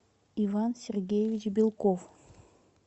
иван сергеевич белков